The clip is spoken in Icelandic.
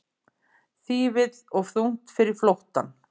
Þýfið of þungt fyrir flóttann